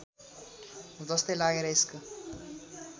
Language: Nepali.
जस्तै लागेर यसको